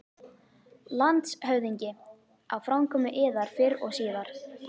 LANDSHÖFÐINGI: Á framkomu yðar fyrr og síðar.